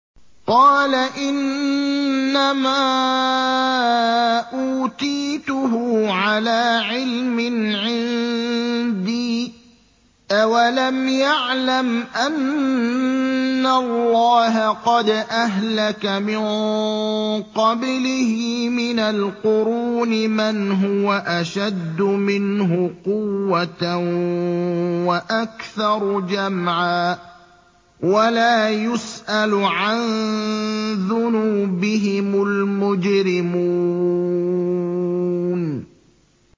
قَالَ إِنَّمَا أُوتِيتُهُ عَلَىٰ عِلْمٍ عِندِي ۚ أَوَلَمْ يَعْلَمْ أَنَّ اللَّهَ قَدْ أَهْلَكَ مِن قَبْلِهِ مِنَ الْقُرُونِ مَنْ هُوَ أَشَدُّ مِنْهُ قُوَّةً وَأَكْثَرُ جَمْعًا ۚ وَلَا يُسْأَلُ عَن ذُنُوبِهِمُ الْمُجْرِمُونَ